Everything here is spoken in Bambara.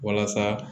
Walasa